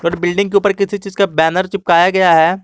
Building के ऊपर किसी चीज का बैनर चिपकाया गया है।